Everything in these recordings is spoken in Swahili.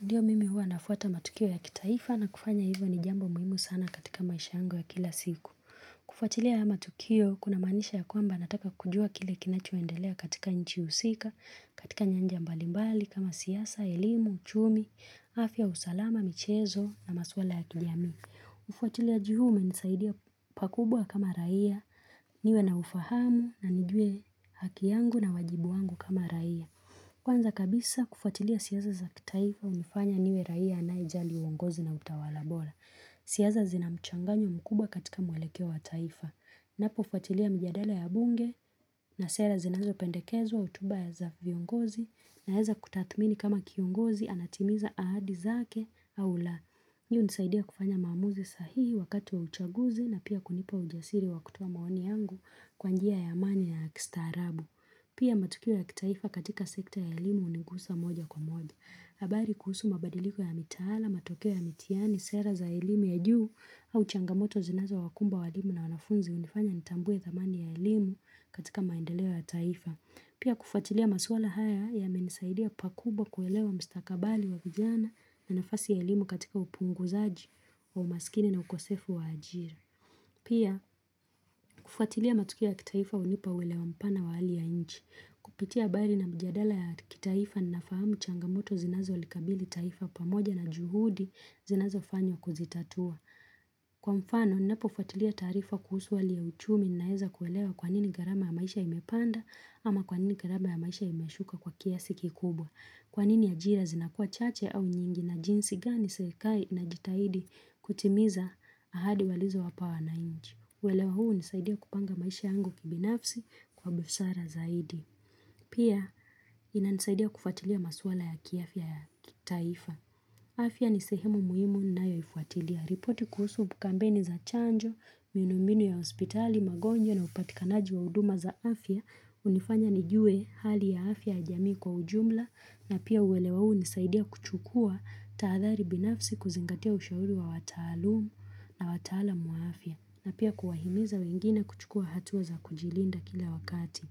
Ndiyo mimi hua nafwata matukio ya kitaifa na kufanya hivyo ni jambo muhimu sana katika maisha yangu ya kila siku. Kufatilia haya matukio, kuna maanisha ya kwamba nataka kujua kile kinachua endelea katika nchi husika, katika nyanja mbalimbali, kama siasa, elimu, uchumi, afya, usalama, michezo na maswala ya kijamii. Ufuatiliaji huu umenisaidia pakubwa kama raia, niwe na ufahamu na nijue haki yangu na wajibu wangu kama raia. Kwanza kabisa kufuatilia siasa za kitaifa umefanya niwe raia anayejali uongozi na utawala bora. Siasa zina mchanganyo mkuba katika mwelekeo wa taifa. Unapo fuatilia mjadala ya bunge na sera zinazo pendekezwa utuba ya-- za viungozi unaeza kutathmini kama kiongozi anatimiza ahadi zake au la. Hii unisaidia kufanya maamuzi sahihi wakati wa uchaguzi na pia kunipa ujasiri wa kutoa maoni yangu kwa njia ya amani na ya kistaarabu. Pia matukio ya kitaifa katika sekta ya elimu hunigusa moja kwa moja. Habari kuhusu mabadiliko ya mitaala, matokeo ya mitiani, sera za elimu ya juu au changamoto zinazowakumba walimu na wanafunzi hunifanya nitambue thamani ya elimu katika maendeleo ya taifa. Pia kufatilia maswala haya yamenisaidia pakubwa kuelewa mstakabali wa vijana na nafasi ya elimu katika upunguzaji wa umasikini na ukosefu wa ajira. Pia, kufwatilia matukio ya kitaifa hunipa uelewa mpana wa hali ya nchi. Kupitia habari na mjadala ya kitaifa ninafahamu changamoto zinazolikabili taifa pamoja na juhudi zinazofanywa kuzitatua. Kwa mfano, ninapofwatilia taarifa kuhusu hali ya uchumi naeza kuelewa kwa nini gharama ya maisha imepanda ama kwa nini gharama ya maisha imeshuka kwa kiasi kikubwa. Kwa nini ajira zinakua chache au nyingi na jinsi gani serikali inajitaidi kutimiza ahadi walizo wapaa wananchi. Ueleo hunisaidia kupanga maisha yangu kibinafsi kwa busara zaidi. Pia inanisaidia kufatilia maswala ya kiafya ya taifa. Afya ni sehemu muhimu ninayoifuatilia. Ripoti kuhusu kampeni za chanjo, miunu mbinu ya hospitali, magonjwa na upatikanaji wa huduma za afya. Hunifanya nijue hali ya afya ya jamii kwa ujumla. Na pia uelewa huu hunisaidia kuchukua taadhari binafsi kuzingatia ushauri wa wataalumu na wataalam wa afia. Na pia kuwahimiza wengine kuchukua hatua za kujilinda kila wakati.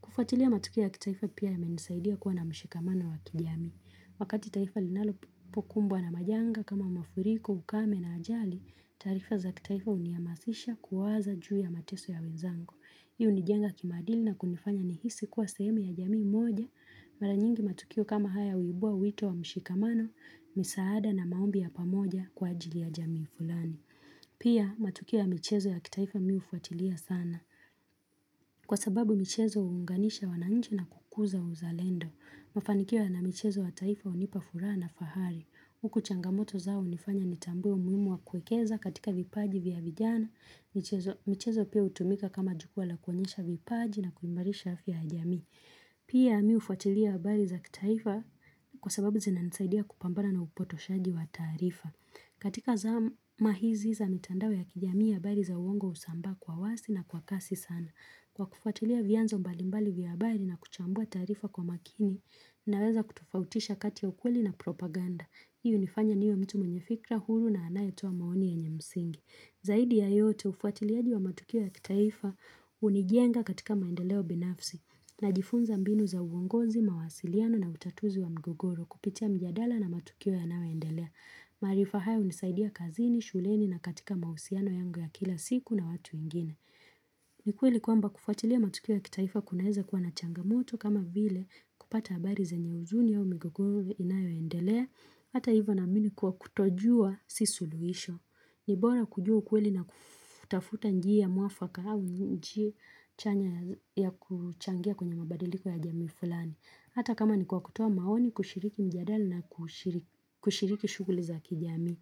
Kufuatilia matukio ya kitaifa pia yamenisaidia kuwa na mshikamano wa kijamii. Wakati taifa linalop-- pokumbwa na majanga kama mafuriko, ukame na ajali, taarifa za kitaifa huniamasisha kuwaza juu ya mateso ya wenzangu. Hii hunijenga kimadili na kunifanya nihisi kuwa sehemu ya jami moja, mara nyingi matukio kama haya uibua wito wa mshikamano, misaada na maombi ya pamoja kwa ajili ya jamii fulani. Pia matukio ya michezo ya kitaifa mi hufuatilia sana. Kwa sababu michezo huunganisha wananchi na kukuza uzalendo. Kufanikiwa na michezo ya taifa hunipa furaha na ufahamu. Huku changamoto zao zimefanya nitambue umuhimu wa kuwekeza katiuka vipaji vya vijana michezo. Michezo pia hutumika kama jukua la kuonyesha vipaji na kungarisha afya ya jamii. Pia mi hufuatilia habari za kitaifa kwa sababu zinanisaidia kupambana na upotoshaji wa taarifa, katika zama hizi za mitandao ya kijamii habari za uongoo husambaa kwa wazi na kwa kasi sana. Kwa kufuatilia vianzo mbali mbali za habari na kuchambua taarifa kwa makini. Naweza kutofautisha kati ya ukweli na propaganda, hii unifanya niwe mtu mwenye fikra huru na anayetoa maoni yenye msingi. Zaidi ya yote ufuatiliaji ya matukio ya kitaifa. Hunijenga katika maendeleo binafsi. Najifunza mbinu za uongozi, mawasiliano na utatuzi wa mgogoro kupitia mjadala na matukio yanayo endelea. Maarifa haya hunisaidia kazini, shuleni na katika mahusiano yangu ya kila siku na watu wengine. Ni kweli kwamba kufuatilia matukio ya kitaifa kunaeza kua na changamoto kama vile, kupata habari zenye huzuni au migogoro inayoendelea. Hata ivo naamini kuwa kutojua si suluisho. Ni bora kujua ukweli na kufff-- tafuta njia muafaka au njia chanya ya kuchangia kwenye mabadiliko ya jamii fulani. Hata kama ni kwa kutuo maoni kushiriki mjadala na kushiri-kushiriki shughuli za kijamii.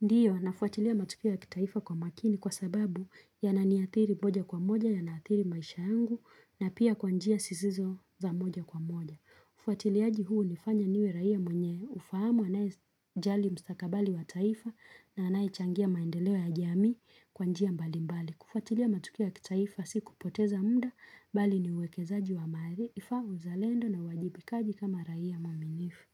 Ndiyo nafuatilia matukio ya kitaifa kwa makini kwa sababu yananiathiri moja kwa moja, yanaathiri maisha yangu na pia kwa njia zisizo za moja kwa moja. Ufuatiliaji huu hunifanya niwe raia mwenye ufahamu anayejali mstakabali wa taifa na anayechangia maendeleo ya jamii kwa njia mbali mbali. Kufuatilia matukio ya kitaifa si kupoteza mda, bali ni uwekezaji wa maarifa, uzalendo na uwajibikaji kama raia muaminifu.